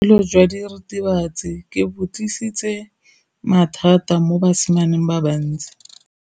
Botshelo jwa diritibatsi ke bo tlisitse mathata mo basimaneng ba bantsi.